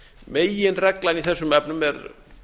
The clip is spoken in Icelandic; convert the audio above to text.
meginreglan í þessum efnum er